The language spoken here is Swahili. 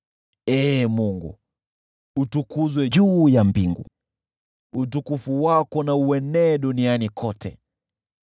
Ee Mungu, utukuzwe juu ya mbingu, utukufu wako na uenee duniani kote.